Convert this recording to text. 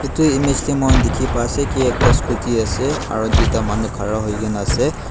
itu image de muikhan dikhi pase ki ekta scooty ase aro duita manu khara huikena ase.